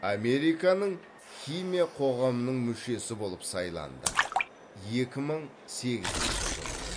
американың химия қоғамының мүшесі болып сайланды екі мың сегізінші жылы